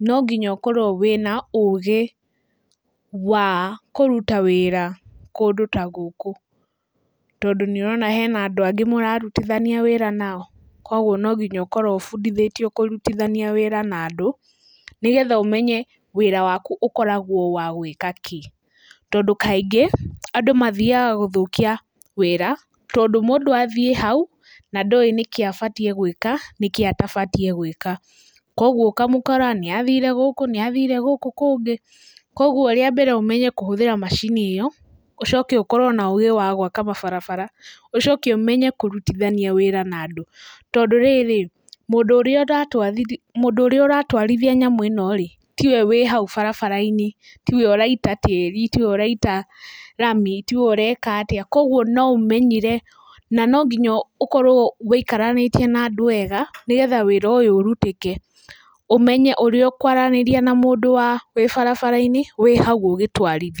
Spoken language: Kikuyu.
no nginya ũkorwo wĩna ũgĩ wa kũruta wĩra kũndũ ta gũkũ, tondũ nĩ ũrona hena andũ angĩ mũrarutithania wĩra nao, koguo no nginya ũkorwo ũbundithĩtio kũrutithania wĩra na andũ, nĩgetha ũmenye wĩra waku ũkoragwo wa gwĩka kĩ, tondũ kaingĩ andũ mathiaga gũthũkia wĩra tondũ mũndũ athiĩ hau na ndowĩ nĩkĩ abatiĩ gwĩka na nĩkĩ atabatiĩ gwika, koguo ũkamũkora nĩ athire gũkũ, nĩ athire gũkũ kũngĩ, koguo rĩa mbere ũmenye kũhũthĩra macini ĩyo, ũcoke ũkorwo na ũgĩ wa gũaka mabarababara, ũcoke ũmenye kũrutithania wĩra na andũ, tondũ rĩrĩ, mũndũ ũrĩa ũratwarithia nyamũ-ino rĩ, ti we ũrĩ hau barabara-inĩ, tiwe ũraita tĩri, tiwe ũraita rami, tiwe ũreka atĩa. Koguo no ũmenyire, na no nginya ũkorwo ũikaranĩtie na andũ wega, nĩgetha wĩra ũyũ ũrutĩke, ũmenye ũrĩa ũkwaranĩria na mũndũ wĩ barabara-inĩ, wĩ hau ũgĩtwarithia.